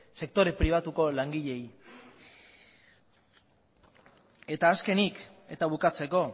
sektore pribatuko langileak azkenik eta bukatzeko